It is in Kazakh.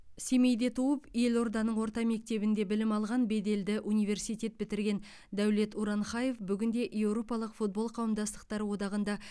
семейде туып елорданың орта мектебінде білім алған беделді университет бітірген дәулет уранхаев бүгінде еуропалық футбол қауымдастықтары одағында